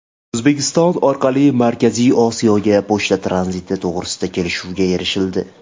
O‘zbekiston orqali Markaziy Osiyoga pochta tranziti to‘g‘risida kelishuvga erishildi.